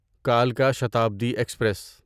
کلکا Shatabdi express